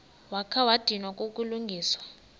wakha wadinwa kukulungisa